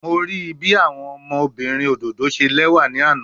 Mo rii bi awọn ọmọbirin ododo ṣe lẹwa ni ana